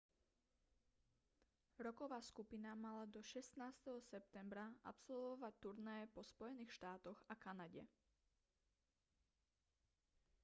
rocková skupina mala do 16. septembra absolvovať turné po spojených štátoch a kanade